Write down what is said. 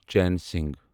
چین سنگھ